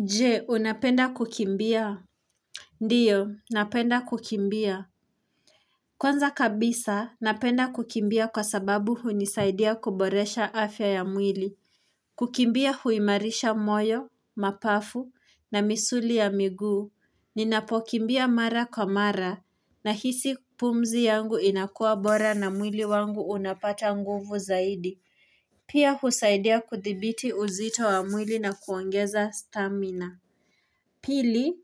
Je unapenda kukimbia Ndio napenda kukimbia Kwanza kabisa napenda kukimbia kwa sababu hunisaidia kuboresha afya ya mwili kukimbia huimarisha moyo mapafu na misuli ya miguu ninapokimbia mara kwa mara nahisi pumzi yangu inakuwa bora na mwili wangu unapata nguvu zaidi Pia husaidia kudhibiti uzito wa mwili na kuongeza stamina Pili,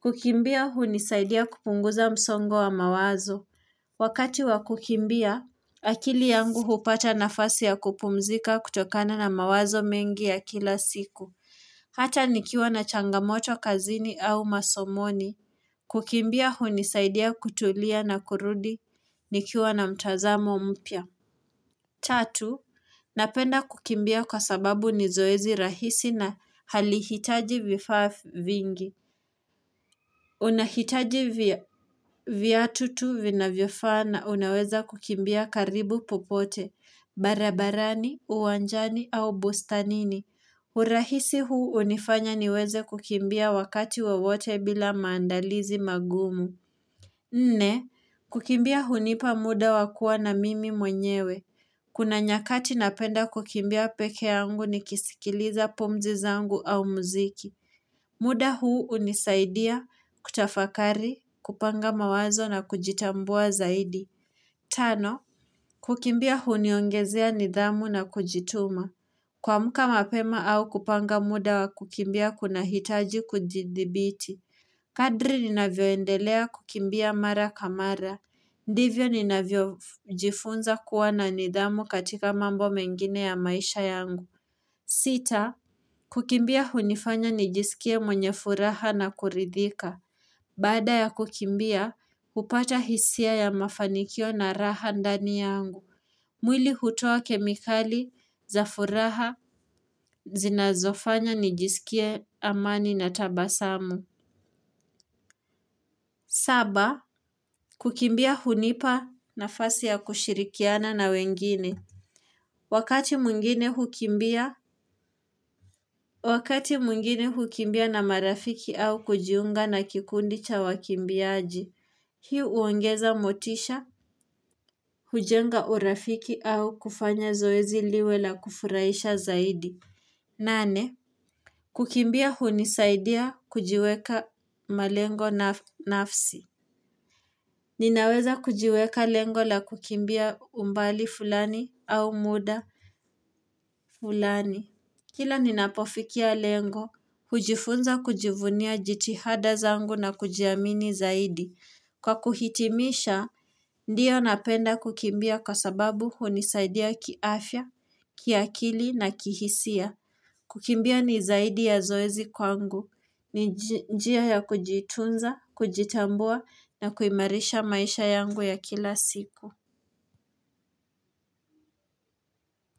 kukimbia hunisaidia kupunguza msongo wa mawazo. Wakati wa kukimbia, akili yangu hupata nafasi ya kupumzika kutokana na mawazo mengi ya kila siku. Hata nikiwa na changamoto kazini au masomoni. Kukimbia hunisaidia kutulia na kurudi nikiwa na mtazamo mpya. Tatu, napenda kukimbia kwa sababu ni zoezi rahisi na halihitaji vifaa vingi. Unahitaji viatu tuu vinavyofaa na unaweza kukimbia karibu popote, barabarani, uwanjani au bustanini. Urahisi huu hunifanya niweze kukimbia wakati wawote bila maandalizi magumu. Nne, kukimbia hunipa muda wa kuwa na mimi mwenyewe. Kuna nyakati napenda kukimbia pekee yangu nikisikiliza pumzi zangu au muziki. Muda huu unisaidia, kutafakari, kupanga mawazo na kujitambua zaidi. Tano, kukimbia huniongezea nidhamu na kujituma. Kuamka mapema au kupanga muda wa kukimbia kunahitaji kujidhibiti. Kadri ninavyoendelea kukimbia mara kwa mara. Ndivyo ninavyojifunza kuwa na nidhamu katika mambo mengine ya maisha yangu. Sita, kukimbia hunifanya nijisikie mwenye furaha na kuridhika. Baada ya kukimbia, hupata hisia ya mafanikio na raha ndani yangu. Mwili hutoa kemikali za furaha zinazofanya nijisikie amani na tabasamu. Saba, kukimbia hunipa nafasi ya kushirikiana na wengine. Wakati mwingine hukimbia na marafiki au kujiunga na kikundi cha wakimbiaji. Hii huongeza motisha, hujenga urafiki au kufanya zoezi liwe la kufurahisha zaidi. Nane. Kukimbia hunisaidia kujiweka malengo nafsi. Ninaweza kujiweka lengo la kukimbia umbali fulani au muda fulani. Kila ninapofikia lengo, hujifunza kujivunia jitihada zangu na kujiamini zaidi. Kwa kuhitimisha, ndio napenda kukimbia kwa sababu hunisaidia kiafya, kiakili na kihisia. Kukimbia ni zaidi ya zoezi kwangu. Ni njia ya kujitunza, kujitambua na kuimarisha maisha yangu ya kila siku.